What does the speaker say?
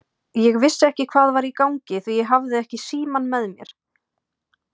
Ég vissi ekki hvað var í gangi því ég hafði ekki símann með mér.